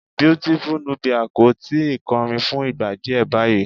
Beautiful Nubia kò ì tí ì kọrin fún ìgbà díẹ̀ báyìí.